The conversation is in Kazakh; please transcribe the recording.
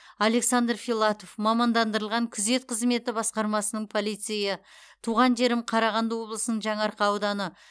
александр филатов мамандандырылған күзет қызметі басқармасының полицейі туған жерім қарағанды облысының жаңаарқа ауданы